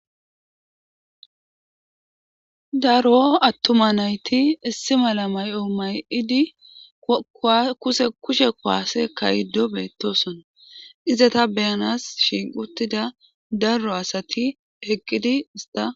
Daro attuma nayti issi mala may7o may7idi kuse kushe kuwaase kayddo beettosona izata beyanas shiiquttida darro asati heqqidi ista